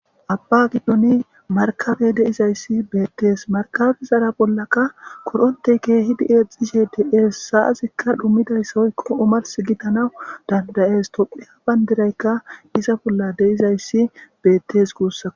Abba giddoni markabey deizayssi beettees markabe zara bollaka korontey keehidi eexishe deees saazikka dhummidayssahoykko omars gitanawu dandayees topheya bandiraykka iza bolla deizayssi beettes kuussa